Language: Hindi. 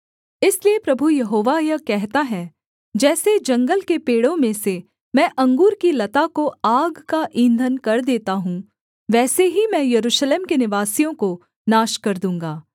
इसलिए प्रभु यहोवा यह कहता है जैसे जंगल के पेड़ों में से मैं अंगूर की लता को आग का ईंधन कर देता हूँ वैसे ही मैं यरूशलेम के निवासियों को नाश कर दूँगा